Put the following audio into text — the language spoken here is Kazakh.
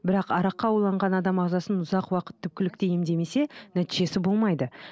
бірақ араққа уланған адам ағзасын ұзақ уақыт түпкілікті емдемесе нәтижесі болмайды